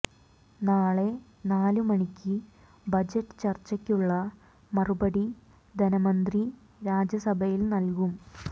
നാളെ നാല് മണിക്ക് ബജറ്റ് ചർച്ചയ്ക്കുള്ള മറുപടി ധനമന്ത്രി രാജ്യസഭയിൽ നൽകും